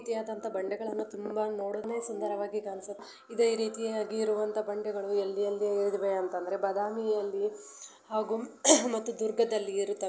ಒಂದು ರೀತಿಯಾದ ಬಂಡೆಗಳ್ಳನ್ನ ತುಂಬಾ ನೋಡೋದನೆ ಸಧಾರವಾಗಿ ಕಾಣ್ಸು. ಇದೇ ರೀತಿಯಾಗಿ ಇರುವಂತ ಬಂಡೆಗಲು ಎಲ್ಲಿ ಎಲ್ಲಿ ಇದಾವೆ ಅಂದರೆ ಬಾದಾಮಿ ಅಲ್ಲಿ ಹಾಗೂ ಮತ್ತು ದುರ್ಗದಲ್ಲಿ ಇರುತ್ತವೆ.